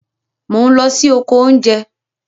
Mò n lọ sí oko oúnjẹ